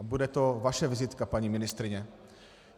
A bude to vaše vizitka, paní ministryně.